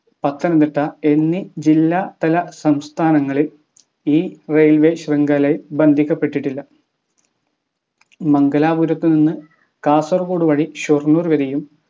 പത്തനംതിട്ട എന്നീ ജില്ലാ തല സംസ്ഥാനങ്ങൾ ഈ railway ശൃംഖലയിൽ ബന്ധിക്കപ്പെട്ടിട്ടില്ല മംഗലാപുരത്തു നിന്ന് കാസർഗോഡ് വഴി ഷൊർണൂർ വരെയും